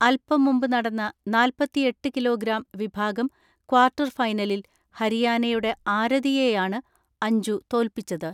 അൽപം മുമ്പ് നടന്ന നാല്പത്തിഎട്ട് കിലോഗ്രാം വിഭാഗം ക്വാർട്ടർ ഫൈനലിൽ ഹരിയാനയുടെ ആരതിയെയാണ് അഞ്ജു തോൽപിച്ചത്.